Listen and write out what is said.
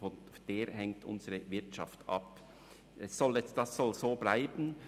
Von dieser hängt unsere Wirtschaft ab, und dies soll so bleiben.